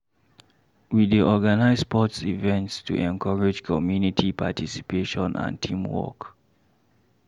We dey organize sports events to encourage community participation and teamwork.